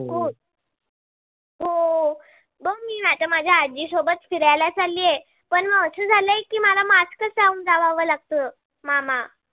गो मी आता माझ्या आजी सोबत फिरायला चालली आहे. पण म अस झालाय की मला mask च लाऊन जावव लागत मामा.